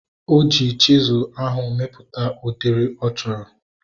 Oji chisụl ahu mepụta udiri ọ chọrọ